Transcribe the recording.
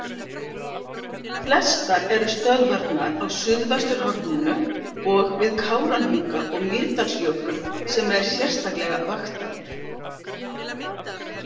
Flestar eru stöðvarnar á suðvesturhorninu og við Kárahnjúka og Mýrdalsjökul sem er sérstaklega vaktaður.